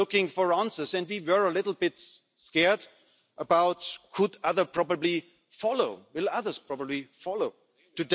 we all share these general ideas fair taxation, contributions by the digital business sector to the future of this fair